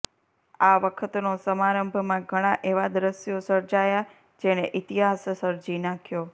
આ વખતનો સમારંભમાં ઘણા એવા દ્રશ્યો સર્જાયા જેણે ઇતિહાસ સર્જી નાખ્યો